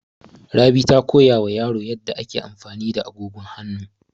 Rabi ta koya wa yaro yadda ake amfani da agogon hanu.